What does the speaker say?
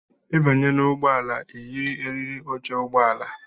Ịbanye n' ụgbọala i yiri eriri óche ụgbọala!!!!